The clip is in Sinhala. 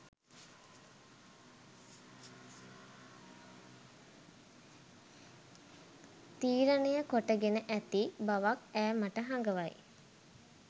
තීරණය කොටගෙන ඇති බවක් ඈ මට හඟවයි